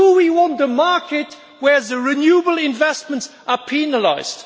Do we want a market where renewable investments are penalised?